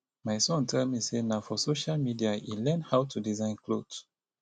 my son tell me say na for social media e learn how to design cloth